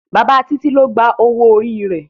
bàbá Titi ló gbà owo orí rẹ